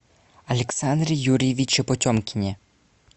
александре юрьевиче потемкине